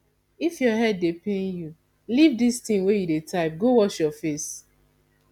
if your head dey pain you leave dis thing you dey type go wash your face